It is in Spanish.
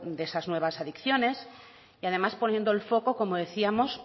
de esas nuevas adicciones y además poniendo el foco como decíamos